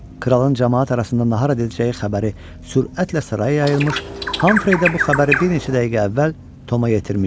Kralın camaat arasında nahar edəcəyi xəbəri sürətlə saraya yayılmış, Hamfreydə bu xəbəri bir neçə dəqiqə əvvəl Toma yetirmişdi.